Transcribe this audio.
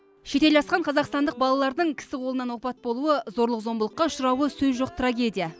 шетел асқан қазақстандық балалардың кісі қолынан опат болуы зорлық зомбылыққа ұшырауы сөз жоқ трагедия